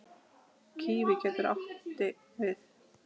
Kíví getur átti við